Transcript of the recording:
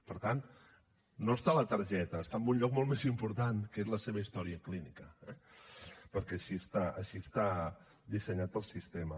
per tant no està a la targeta està en un lloc molt més important que és la seva història clínica eh perquè així està dissenyat pel sistema